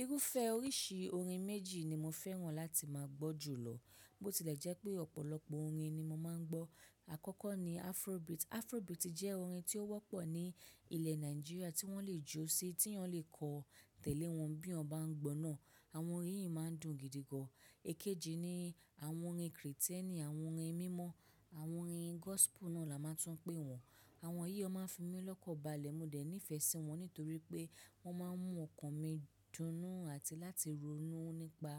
Irúfẹ́ oríṣi orin méjì ni mo fẹ́ràn láti máa gbọ́ jùlọ. Bó ti lẹ̀ jẹ́ pẹ́ ọ̀pọ̀lọpọ̀ orin ni mo máa ń gbọ́. Àkọ́kọ́ ni afrobeat. Afrobeat jẹ́ orin tí ó wọ́pọ̀ ní ilẹ̀ Nàìjíríà tí wọ́n lè jọ́ sí, tí ẹ̀ẹ̀yan le kọ̀ tẹ̀lẹ́ wọn bí oyanbá ń gbọ́ náà. Àwọn orín yìí máa ń dùn gìdígàn. Ekéjì ni àwọn orin Krìtẹ̀nì, àwọn orin mímọ́, àwọn orin gospel náà la máa tún pẹ̀ wọn. Àwọn yìí ó máa ń fi mí lọ́kọ̀ bale. Mo dẹ̀ nífẹ̀ẹ́ sí wọn nítorí pé wọ́n máa ń mú ọkàn mí dunnú àti láti ronú nípa